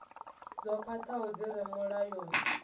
dzo khwathaho dzi re mulayoni